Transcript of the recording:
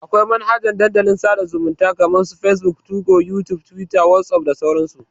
Akwai manhajan Dandalin sada zumunta kama su facebook, 2go, youtube, twitter, whatsapp da sauran su.